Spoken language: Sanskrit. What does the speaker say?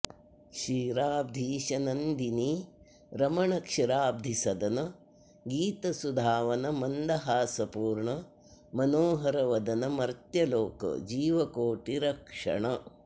क्षीराब्धीश नन्दिनी रमण क्षीराब्धि सदन गीतसुधावन मन्दहासपूर्ण मनोहरवदन मर्त्यलोक जीविकोटि रक्षण